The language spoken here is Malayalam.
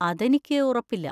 അതെനിക്ക് ഉറപ്പില്ല.